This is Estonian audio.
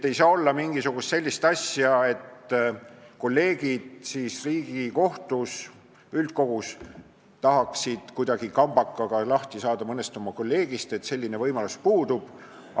Ei saa olla sellist asja, et kolleegid Riigikohtu üldkogus tahaksid kuidagi kambakaga mõnest oma kolleegist lahti saada, selline võimalus puudub.